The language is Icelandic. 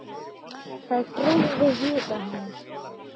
Það dreifði huga hennar.